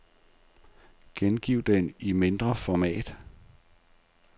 Gengiv den i et mindre format.